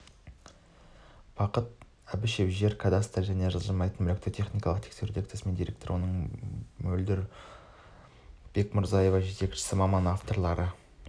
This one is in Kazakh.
бақыт әбішев жер кадастры және жылжымайтын мүлікті техникалық тексеру дирекциясының директоры мөлдір бекмұрзаева жетекші маман авторлары